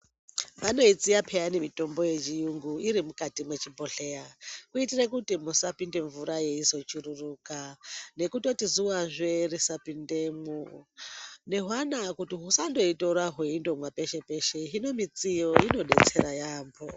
Vanoisiya peyani mitombo yechiyungu iri mwechibhodhleya kuitire kuti musapinde mvura yeizochururuka nekutoti zuvazve risapindemwo nehwana kuti husandoitora hweindimwa peshe peshe hino midziyo inodetsere yambo.